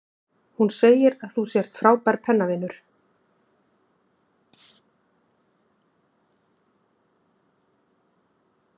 Hún segir að þú sért frábær pennavinur.